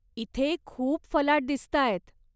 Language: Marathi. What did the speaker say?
इथे खूप फलाट दिसताहेत.